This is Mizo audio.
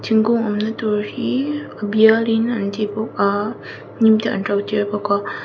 thingkung awm na tur hi a bial in an ti bawk a hnim te an to tir bawk a.